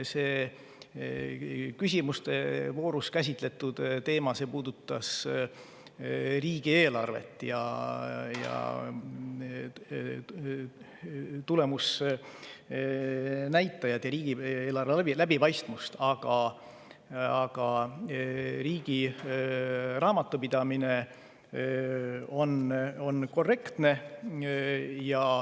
See küsimuste voorus käsitletud teema puudutas riigieelarvet, tulemusnäitajaid ja riigieelarve läbipaistvust, aga riigi raamatupidamine on korrektne.